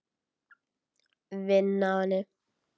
Vinn á henni.